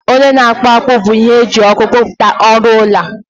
onye na-akpụ akpụ bụ ihe eji ọkụ kpụpụta ọrụ ọla